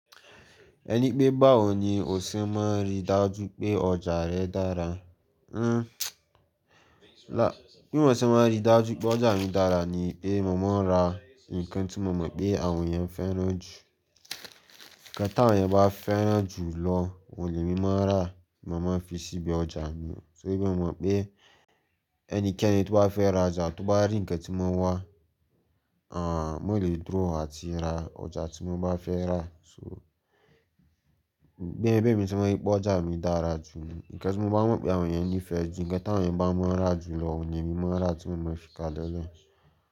Ẹni pé báwo ni o ṣe máa rí dájú pé ọjà rẹ dára? Ah. Bí mo ṣe máa rí dájú pé ọjà mi dára ni pé mo máa n ra nǹkan tí mo mọ̀ pé àwọn èeyàn fẹ́ ràn jù. Ǹkan tàwọn ènìyàn bá fẹ́ ràn jù lọ, òun ni mo máa rà, mo máa fi síbi ọjà mi. Se bí o mọ̀ pé ẹnikẹ́ni tó bá fẹ́ ra ọjà tó bá rí ǹnkan tí won wá, mo lè dúró àti ra ọjà tí mo bá fẹ́ rà. So bí ẹmí ti maa ń rí pé ọjà mi dára jù ní, ǹkan tí mo bá mọ̀ pé àwọn ènìyàn ní ìfẹ́ jù, ǹkan tí àwọn ènìyàn bá ma n rà jù lọ, òun ni èmi máa n rà tí mo maa fi ka lẹ́ e lẹ̀.